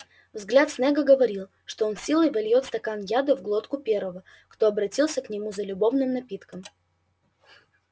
взгляд снегга говорил что он силой вольёт стакан яда в глотку первого кто обратился к нему за любовным напитком